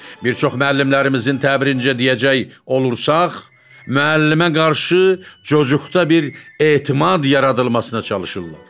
Bir çox müəllimlərimizin təbirincə deyəcək olursaq, müəllimə qarşı cocuqda bir etimad yaradılmasına çalışırlar.